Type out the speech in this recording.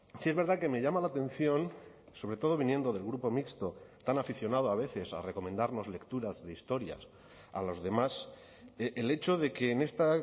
sí es verdad que me llama la atención sobre todo viniendo del grupo mixto tan aficionado a veces a recomendarnos lecturas de historias a los demás el hecho de que en esta